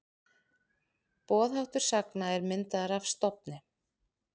Boðháttur sagna er myndaður af stofni.